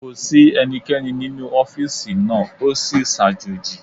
Kò sí ẹnikẹ́ni nínú ọ́fìsì náà, o sì sàjòji